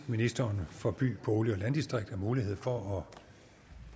ministeren for by bolig og landdistrikter mulighed for